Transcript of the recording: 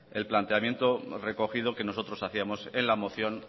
el planteamiento recogido que nosotros hacíamos en la moción